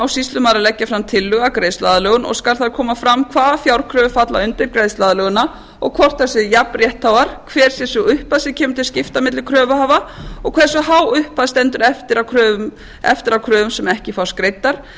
sýslumaður að leggja fram tillögu um greiðsluaðlögun og skal þar koma fram hvaða fjárkröfur falla undir greiðsluaðlögunina og hvort þær séu jafn réttháar hver sé sú upphæð sem kemur til skipta milli kröfuhafa og hversu há upphæð stendur eftir af kröfum sem ekki fást greiddar